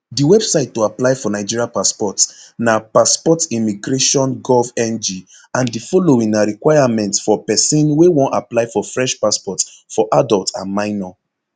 di website to apply for nigeria passport napassportimmigrationgovng and di following na requirements for person wey wan apply for fresh passport for adult and minor